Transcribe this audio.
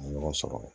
Ɲɔgɔn sɔrɔ